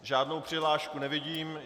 Žádnou přihlášku nevidím.